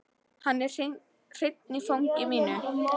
Hann er hreinn í fangi mínu.